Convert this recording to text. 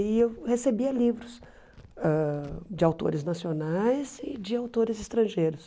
E eu recebia livros ãh de autores nacionais e de autores estrangeiros.